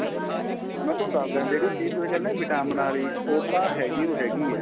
ਮੈਂ ਤੁਹਾਨੂੰ ਦੱਸਦਾ ਜਿਹੜੀ ਚੀਜ ਮੈਂ ਕਹਿਨਾ vitamin ਆਲੀ ਉਹ ਤਾਂ ਹੈਗੀ ਓ ਹੈਗੀ ਏ